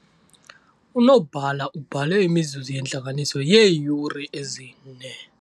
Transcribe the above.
Unobhala ubhale imizuzu yentlanganiso yeeyure ezine.